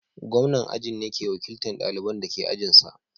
Gwamnan ajin ne ke wakiltan ɗalibanda ke ajin sa.